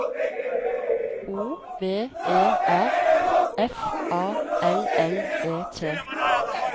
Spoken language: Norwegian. O V E R F A L L E T